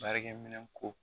Baarakɛminɛn ko